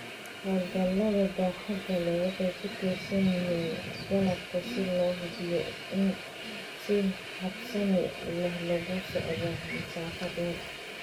Hawlgallada baaxadda leh waxay ku tiirsan yihiin qalabka si loo hubiyo in si habsami leh loogu socdo masaafo dheer.